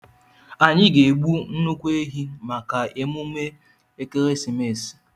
Anyị ga-egbu nnukwu ehi maka emume ekeresimesi.